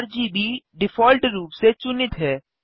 RGB default रूप से चुनित है